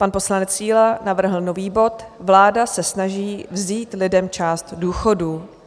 Pan poslanec Síla navrhl nový bod Vláda se snaží vzít lidem část důchodů.